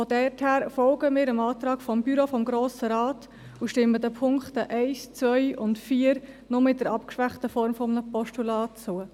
Deshalb folgen wir dem Antrag des Büros des Grossen Rats und stimmen den Punkten 1, 2 und 4 nur in der abgeschwächten Form eines Postulats zu.